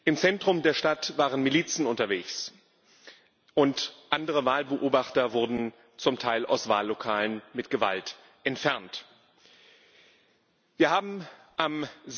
Im Zentrum der Stadt waren Milizen unterwegs, und andere Wahlbeobachter wurden, zum Teil mit Gewalt, aus Wahllokalen entfernt. Wir haben am